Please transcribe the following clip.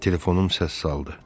Telefonum səs saldı.